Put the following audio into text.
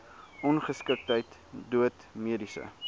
ongeskiktheid dood mediese